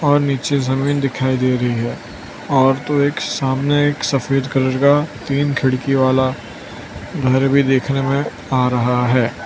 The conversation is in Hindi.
और नीचे जमीन दिखाई दे रही है और तो एक सामने एक सफेद कलर का तीन खिड़की वाला घर भी देखने में आ रहा है।